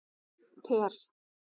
Per